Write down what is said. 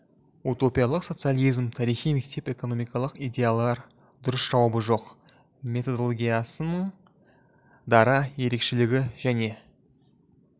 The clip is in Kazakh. утопиялық социализм тарихи мектеп экономикалық идеялар дұрыс жауабы жоқ методолгиясының дара ерекшелігі және